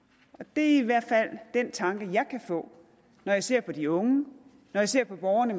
det er i hvert fald den tanke jeg kan få når jeg ser på de unge når jeg ser på borgerne